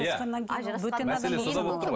иә мәселе сонда болып тұр ғой